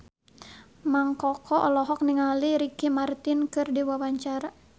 Mang Koko olohok ningali Ricky Martin keur diwawancara